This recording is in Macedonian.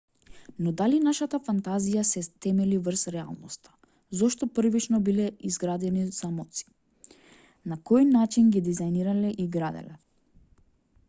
но дали нашата фантазија се темели врз реалноста зошто првично биле изградени замоци на кој начин ги дизајнирале и граделе